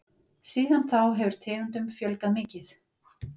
Síðan þá hefur tegundum fjölgað mikið.